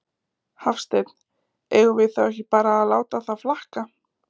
Hafsteinn: Eigum við þá ekki bara að láta það flakka?